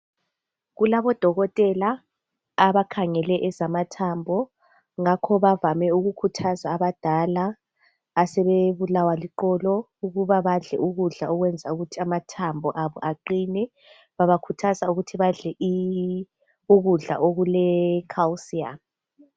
Kulabodokotela abakhangele ezamathambo. Ngakho bavame ukukhuthaza abadala asebebulawa liqolo ukuba badle ukudla okwenza ukuthi amathambo abo aqine. Babakhuthaza ukuthi badle ukudla okuleCalcium.